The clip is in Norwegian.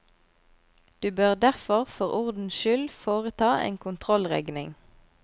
Du bør derfor for ordens skyld foreta en kontrollregning.